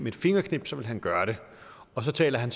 et fingerknips ville gøre det og så taler han